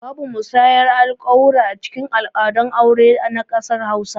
Babu musayar alƙawura acikin al'adun aure na ƙasar hausa